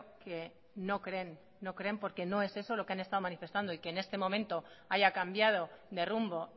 que no creen no creen porque no es eso lo que han estado manifestando y que en este momento haya cambiado de rumbo